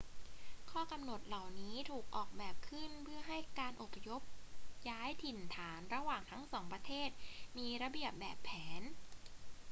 ข้อกำหนดเหล่านี้ถูกออกแบบขึ้นเพื่อให้การอพยพย้ายถิ่นฐานระหว่างทั้งสองประเทศมีระเบียบแบบแผน